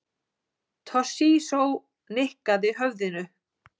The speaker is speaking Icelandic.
Toshizo nikkaði höfðinu.